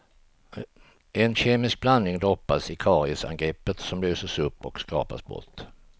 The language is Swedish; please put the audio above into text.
En kemisk blandning droppas i kariesangreppet, som löses upp och skrapas bort.